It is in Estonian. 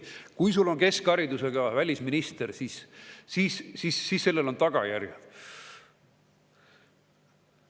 Kui sul on keskharidusega välisminister, siis sellel on tagajärjed.